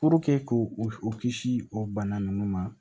k'o kisi o bana ninnu ma